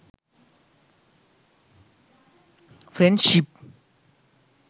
friendship